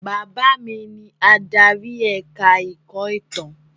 Bàbá mi ni adarí ẹ̀ka-ẹ̀kọ́ ìtàn.